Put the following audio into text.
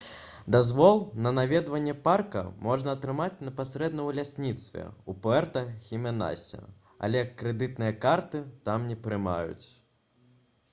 дазвол на наведванне парка можна атрымаць непасрэдна ў лясніцтве ў пуэрта-хіменасе але крэдытныя карты там не прымаюць